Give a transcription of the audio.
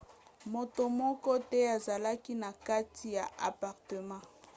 moto moko te azalaki na kati ya apartema